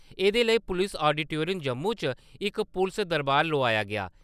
एह्‌दे लेई पुलस ऑडीटोरियम जम्मू च इक पुलस दरबार लोआया गेआ।